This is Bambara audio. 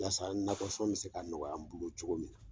Walasa nakɔ sɔn bɛ se ka nɔgɔya n bolo cogo min na!